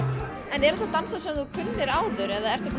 en eru þetta dansar sem þú kunnir áður eða ertu búin